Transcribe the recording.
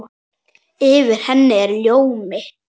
Yfir henni er ljómi.